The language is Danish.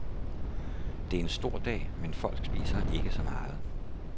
Det er en stor dag, men folk spiser ikke så meget.